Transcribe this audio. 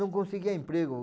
Não conseguia emprego.